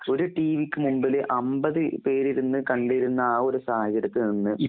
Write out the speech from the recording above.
ഒരു ടീവിക്ക്മുമ്പില് അമ്പത് പേരിരുന്ന്കണ്ടിരുന്ന ആഒരുസാഹചര്യത്തിൽനിന്ന്